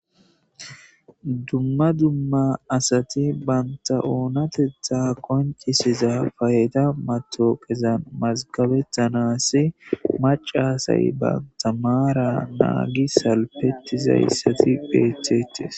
Dumma dumma asati banta oonateththa qonccisiza fayda matoqezan mazgabettanasi macasay banta maara naagi salpetizayssati beethettes.